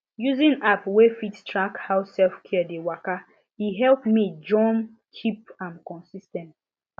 using app wey fit track how selfcare dey waka e help me jom keep am consis ten t